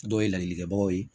Dɔw ye ladilikanw ye